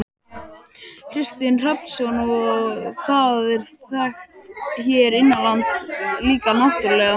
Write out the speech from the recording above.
Kristinn Hrafnsson: Og það er þekkt hér innanlands líka náttúrulega?